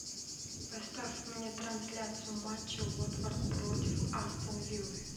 поставь мне трансляцию матча уотфорд против астон виллы